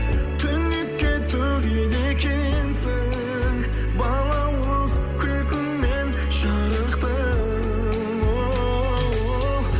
түнекке төгеді екенсің балауыз күлкіңмен жарықты оу